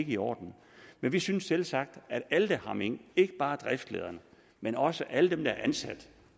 i orden men vi synes selvsagt at alle der har mink ikke bare driftslederne men også alle dem der er ansat